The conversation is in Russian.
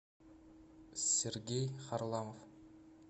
сергей харламов